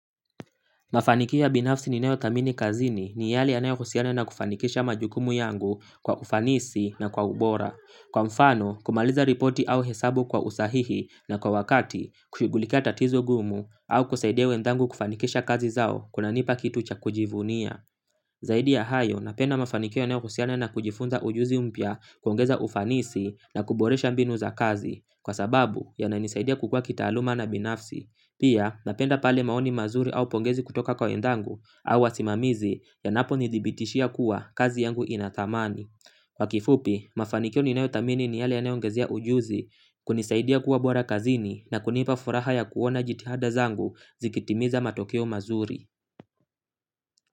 Mafanikio ya binafsi ninayo thamini kazini ni yale yanayo husiana na kufanikisha majukumu yangu kwa ufanisi na kwa ubora. Kwa mfano, kumaliza ripoti au hesabu kwa usahihi na kwa wakati, kushughulikia tatizo ngumu au kusaidia wenzangu kufanikisha kazi zao kuna nipa kitu cha kujivunia. Zaidi ya hayo napenda mafanikio yanayo husiana na kujifunza ujuzi mpya kuongeza ufanisi na kuboresha mbinu za kazi kwa sababu yananisaidia kukua kitaaluma na binafsi pia napenda pale maoni mazuri au pongezi kutoka kwa wenzangu au wasimamizi yanapo nidhibiitishia kuwa kazi yangu ina thamani kwa kifupi mafanikio ninayo thamini ni yale yanayo ongezea ujuzi kunisaidia kuwa bora kazini na kunipa furaha kwa kuona jitihada zangu zikitimiza matokeo mazuri.